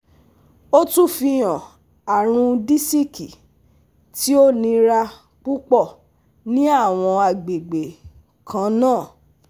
O tun fihan arun disiki ti o nira pupọ ni awọn agbegbe kanna